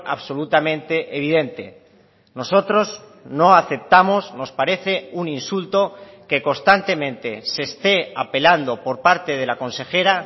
absolutamente evidente nosotros no aceptamos nos parece un insulto que constantemente se esté apelando por parte de la consejera